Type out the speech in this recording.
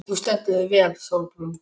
Þú stendur þig vel, Sólbrún!